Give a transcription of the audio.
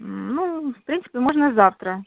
ну в принципе можно завтра